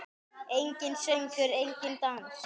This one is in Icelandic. Enginn söngur, enginn dans.